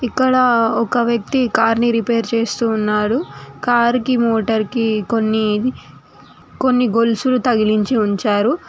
ఇక్కడ ఒక వ్యక్తి కార్ ని రిపేర్ చేస్తూ ఉన్నాడు కార్ కి మోటర్ కి కొన్ని కొన్ని గొలుసులు తగిలించి ఉంచారు.